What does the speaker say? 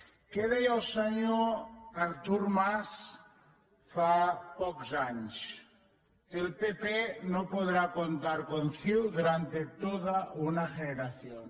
què deia el senyor artur mar fa pocs anys el pp no podrá contar con ciu durante toda una generación